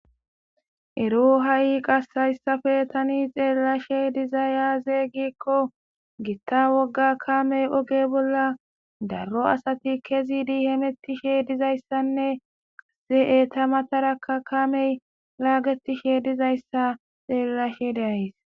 Ero ha'i qase tani hayssape be'ashe dizayssi azee? giddiko gitta wogga kamey oge bolla daro asati kezidi hametishe dizayssi etta matara kamey hametishe de'es . xeelishe de'es.